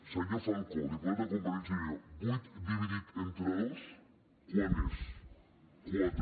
senyor falcó diputat de convergència i unió vuit dividit entre dos quant és quatre